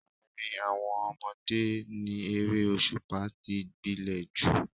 Àárín àwọn ọmọdé ni eré òṣùpá tí gbilẹ̀ jù